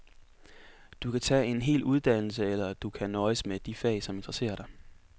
Du kan tage en hel uddannelse, eller du kan nøjes med de fag, som interesserer dig.